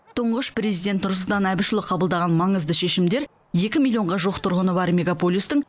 тұңғыш президент нұрсұлтан әбішұлы қабылдаған маңызды шешімдер екі миллионға жуық тұрғыны бар мегаполистің